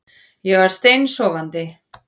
Ég var steinsofandi